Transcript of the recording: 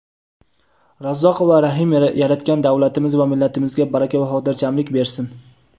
Razzoq va Rahim Yaratgan davlatimiz va millatimizga baraka va xotirjamlik bersin.